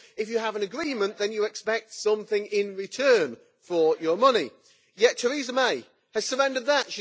Of course if you have an agreement, then you expect something in return for your money. Yet Theresa May has surrendered that.